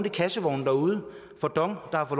i kassevognen derude for dong der har